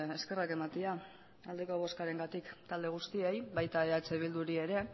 eskerrak ematea aldeko bozkarengatik talde guztiei baita eh bilduriere